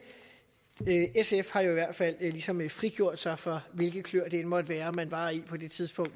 sf har jo i hvert fald ligesom frigjort sig fra hvilke kløer det end måtte være man var i på det tidspunkt